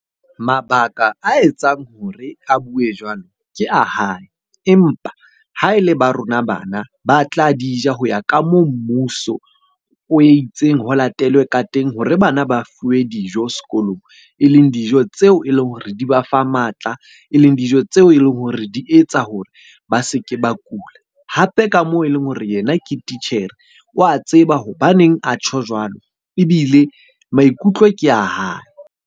Mabaka a etsang hore a bue jwalo, ke a hae. Empa ha e le ba rona bana ba tla di ja ho ya ka moo mmuso o itseng ho latelwe ka teng hore bana ba fuwe dijo sekolong. E leng dijo tseo e leng hore di ba fa matla, e leng dijo tseo e leng hore di etsa hore ba se ke ba kula. Hape ka moo e leng hore yena ke titjhere wa tseba hobaneng a tjho jwalo, ebile maikutlo ke a hae.